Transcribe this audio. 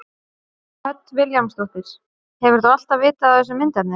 Hödd Vilhjálmsdóttir: Hefur þú alltaf vitað af þessu myndefni?